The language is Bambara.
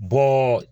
Bɔn